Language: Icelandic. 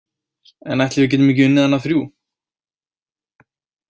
En ætli við getum ekki unnið hana þrjú.